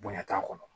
Bonɲa t'a kɔnɔ